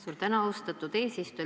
Suur tänu, austatud eesistuja!